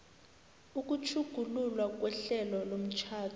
ukutjhugululwa kwehlelo lomtjhado